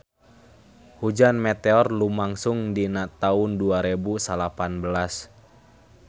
Hujan meteor lumangsung dina taun dua rebu salapan belas